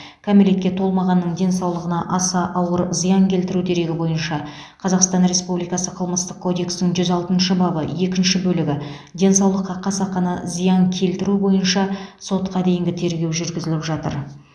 кәмелетке толмағанның денсаулығына аса ауыр зиян келтіру дерегі бойынша қазақстан республикасы қылмыстық кодексінің жүз алтыншы бабы екінші бөлігі денсаулыққа қасақана зиян келтіру бойынша сотқа дейінгі тергеу жүргізіліп жатыр